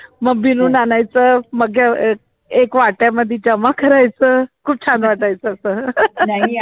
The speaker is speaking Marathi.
मग बिनून आणायचं, मग एक वाट्या मध्ये जमा करायचं, खूप छान वाटायचं